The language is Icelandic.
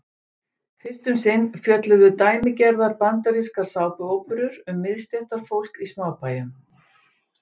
Fyrst um sinn fjölluðu dæmigerðar bandarískar sápuóperur um miðstéttarfólk í smábæjum.